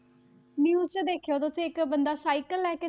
News 'ਚ ਦੇਖਿਓ ਤੁਸੀਂ ਇੱਕ ਬੰਦਾ ਸਾਇਕਲ ਲੈ ਕੇ,